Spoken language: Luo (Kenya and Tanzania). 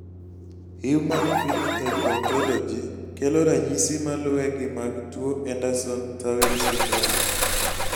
Human Phenotype Ontology kelo ranyisi malue gi mag tuo Andersen Tawil syndrom